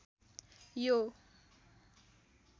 यो